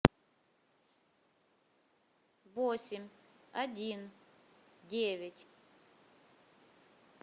восемь один девять